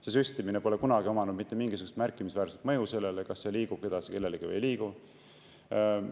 See süstimine pole kunagi omanud mitte mingisugust märkimisväärset mõju sellele, kas liigub edasi kellelegi või ei liigu.